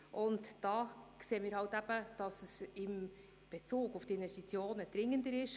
Wir sehen eben, dass es in Bezug auf die Investitionen dringender ist.